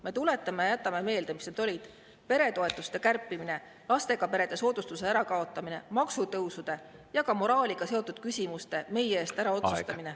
Me tuletame meelde ja jätame meelde, mis need olid: peretoetuste kärpimine, lastega perede soodustuse ärakaotamine, maksutõusude ja ka moraaliga seotud küsimuste meie eest ära otsustamine.